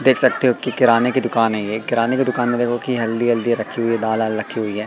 देख सकते हो की किराने की दुकान है ये किराने की दुकान में देखा कि हल्दी वल्दी रखी हुई दाल वाल रखी हुई है।